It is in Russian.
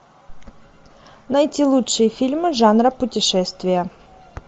найти лучшие фильмы жанра путешествия